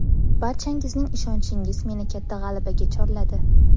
Barchangizning ishonchingiz meni katta g‘alabaga chorladi.